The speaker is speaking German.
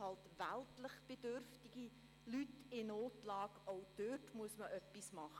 Auch bei weltlich bedürftigen Leuten in Notlage muss man etwas tun.